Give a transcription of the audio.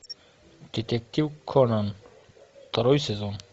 детектив конан второй сезон